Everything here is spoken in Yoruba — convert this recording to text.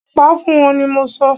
Pa fún wọ́n ni mọ sọ!